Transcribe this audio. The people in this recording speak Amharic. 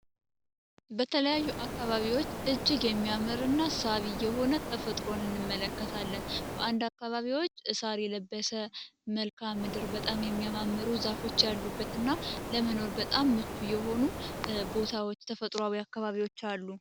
በተለያዩ አካባቢዎች እጅግ የሚያምርና ተፈጥሮን እንመለከታለን አንድ አካባቢዎች እስር የለበሰ መልክዓ ምድር በጣም የሚያማምሩ ዛፎች አሉበት እና ለመኖር በጣም የሆኑ ቦታዎች ተፈጥሯዊ አካባቢዎች አሉ